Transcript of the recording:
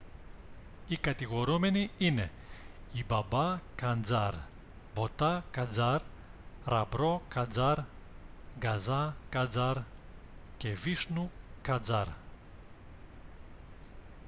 οι κατηγορούμενοι ειανι οι μπαμπά καντζάρ μποτά καντζάρ ραμπρό καντζάρ γκαζά καντζάρ και βίσνου καντζάρ